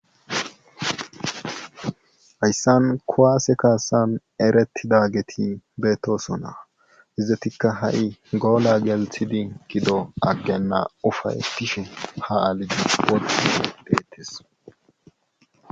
Hayssan kuwase kaasan eretidageti beetosona. izatikka ha'i goola gelsidi gidona agena ufaytishe ha alide eti deetees.